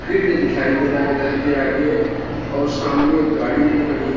field दिखाई दे रहा है घर के आगे और सामने गाड़ी भी खड़ी ह--